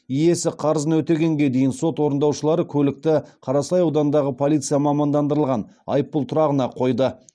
иесі қарызын өтегенге дейін сот орындаушылары көлікті қарасай ауданындағы полиция мамандандырылған айыппұл тұрағына қойды